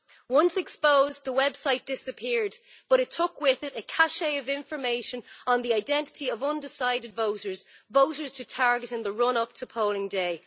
Once exposed, the website disappeared but it took with it a cachet of information on the identity of undecided voters, voters to target in the run up to polling day.